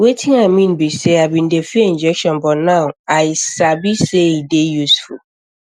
wetin i mean be sey ii bin dey fear injection but now i i sabi sey e dey useful